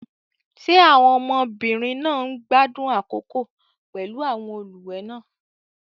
Ṣé àwọn ọmọbìnrin náà ń gbádùn àkókò pẹ̀lú àwọn olùwẹ̀ náà?